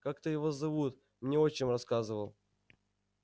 как-то его зовут мне отчим рассказывал